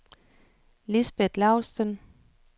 Lisbeth Laustsen